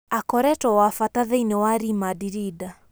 " Akoretwo wa bata thĩini wa Ri Mandrinda.